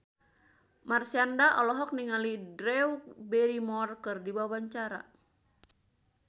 Marshanda olohok ningali Drew Barrymore keur diwawancara